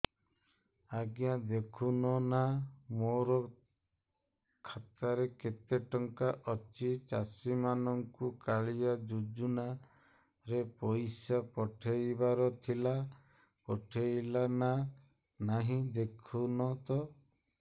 ଆଜ୍ଞା ଦେଖୁନ ନା ମୋର ଖାତାରେ କେତେ ଟଙ୍କା ଅଛି ଚାଷୀ ମାନଙ୍କୁ କାଳିଆ ଯୁଜୁନା ରେ ପଇସା ପଠେଇବାର ଥିଲା ପଠେଇଲା ନା ନାଇଁ ଦେଖୁନ ତ